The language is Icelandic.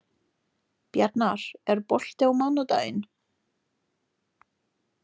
Bjarnar, er bolti á mánudaginn?